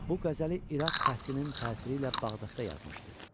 Bu qəzəli İraq fəthinin təsiri ilə Bağdadda yazmışdı.